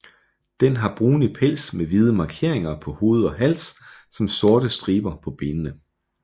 Den har brunlig pels med hvide markeringer på hoved og hals samt sorte striber på benene